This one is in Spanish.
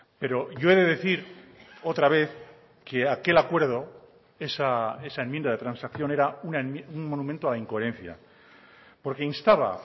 pero yo he de decir otra vez que aquel acuerdo esa enmienda de transacción era un monumento a la incoherencia porque instaba